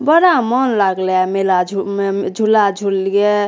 बड़ा मन लागले आय मेला झु उम्म झूला झुल्लिए।